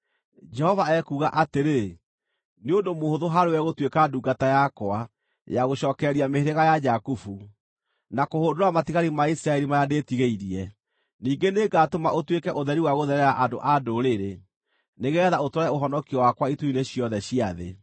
Jehova ekuuga atĩrĩ: “Nĩ ũndũ mũhũthũ harĩwe gũtuĩka ndungata yakwa, ya gũcookereria mĩhĩrĩga ya Jakubu, na kũhũndũra matigari ma Isiraeli marĩa ndĩĩtigĩirie. Ningĩ nĩngatũma ũtuĩke ũtheri wa gũtherera andũ a ndũrĩrĩ, nĩgeetha ũtware ũhonokio wakwa ituri-inĩ ciothe cia thĩ.”